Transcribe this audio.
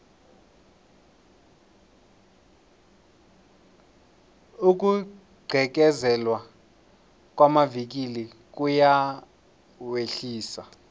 ukugqekezelwa kwamavikili kuyawehlisa